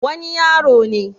wani yaro ne